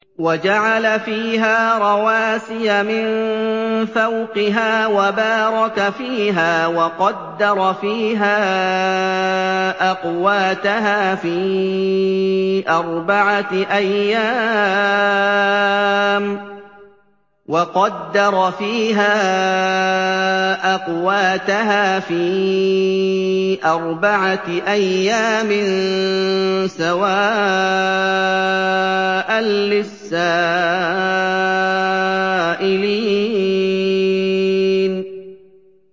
وَجَعَلَ فِيهَا رَوَاسِيَ مِن فَوْقِهَا وَبَارَكَ فِيهَا وَقَدَّرَ فِيهَا أَقْوَاتَهَا فِي أَرْبَعَةِ أَيَّامٍ سَوَاءً لِّلسَّائِلِينَ